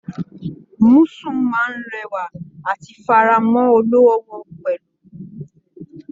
Musù máa n rẹwa àti f'ara mọ olówó wọn pẹlú.